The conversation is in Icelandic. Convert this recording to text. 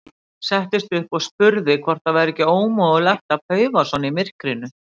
Settist upp og spurði hvort það væri ekki ómögulegt að paufa svona í myrkrinu.